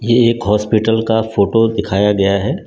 ये एक हॉस्पिटल का फोटो दिखाया गया है।